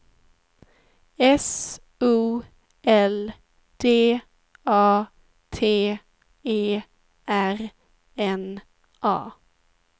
S O L D A T E R N A